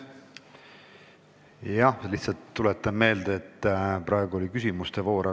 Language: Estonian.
Jah, aga ma tuletan meelde, et praegu on küsimuste voor.